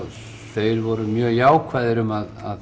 þeir voru mjög jákvæðir um að